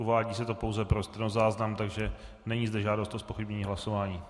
Uvádí se to pouze pro stenozáznam, takže není zde žádost o zpochybnění hlasování.